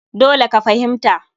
Dole ka fahimta!